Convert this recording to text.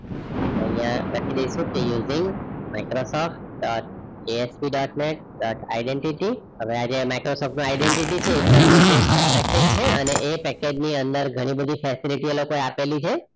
આપડે અહીંયા લખી દેઇશુ using dot asp dot net dot identity હવે આ જે no identity છે એકદમ latest package છે અને એ પાકે ની અંદર ગણી બધી facility એ લોકો આપેલી છે